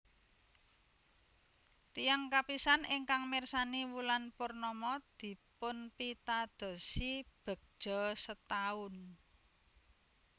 Tiyang kapisan ingkang mirsani wulan purnama dipunpitadosi begja setaun